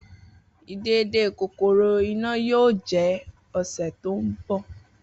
Idede kokoro Ina yoo jẹ ọsẹ to nbọ.